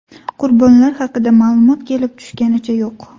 Qurbonlar haqida ma’lumot kelib tushganicha yo‘q.